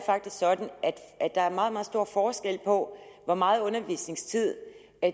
er sådan at der er meget meget stor forskel på hvor meget undervisningstid